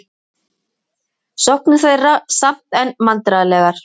Sóknir þeirra samt enn vandræðalegar